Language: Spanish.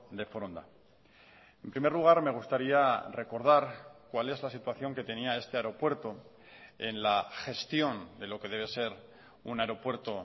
de foronda en primer lugar me gustaría recordar cuál es la situación que tenía este aeropuerto en la gestión de lo que debe ser un aeropuerto